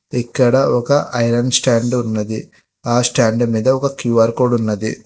ఇక్కడ ఒక iron stand ఉన్నది ఆ స్టాండ్ మీద ఒక క్యూఆర్ కోడ్ ఉన్నది.